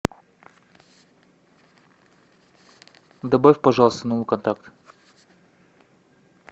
добавь пожалуйста новый контакт